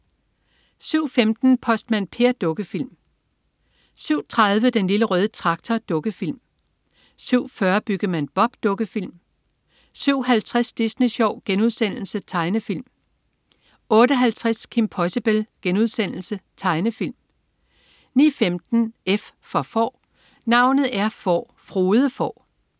07.15 Postmand Per. Dukkefilm (lør-søn) 07.30 Den Lille Røde Traktor. Dukkefilm 07.40 Byggemand Bob. Dukkefilm 07.50 Disney Sjov.* Tegnefilm 08.50 Kim Possible.* Tegnefilm 09.15 F for Får. Navnet er Får, Frode Får